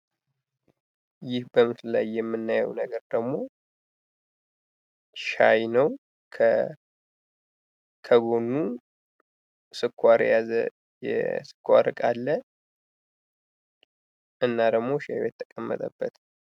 ይህ በምስሉ ላይ የምናየው ነገር ደግሞ ሻይ ነው ከጎኑ ስኳር የያዘ የስኳር እቃ አለ እና ደግሞ ሻዩ የተቀመጠበት።